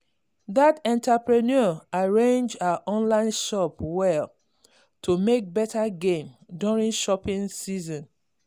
that entrepreneur arrange her online shop well to make better gain during shopping season.